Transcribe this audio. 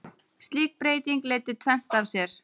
Slík breyting leiddi tvennt af sér.